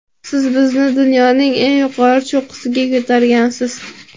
Siz bizni dunyoning eng yuqori cho‘qqisiga ko‘targansiz.